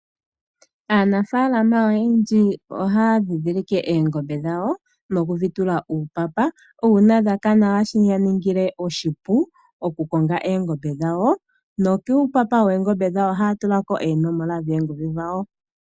Aanafaalama oyendji oha ya nddindhilke oongombe dhawo moku dhi tula uupapa, nuuna dha kana, oha shi ya ningile oshipu oku konga oongombe dhawo, no kuipapa woongombe dhawo oha ya tulako oonomola dhoongodhi dhawo.